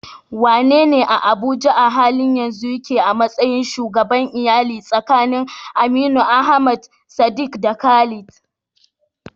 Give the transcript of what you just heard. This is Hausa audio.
Wanene a Abuja a halin yanzu yake a matsayin shugaban iyali tsakanin Aminu, Ahmad, Sadiq, da Khalid?